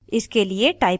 इसके लिए type करें: